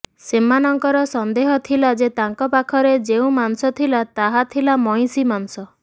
ସେମାନଙ୍କର ସନ୍ଦେହ ଥିଲା ଯେ ତାଙ୍କ ପାଖରେ ଯେଉଁ ମାଂସ ଥିଲା ତାହା ଥିଲା ମଇଁଷି ମାଂସ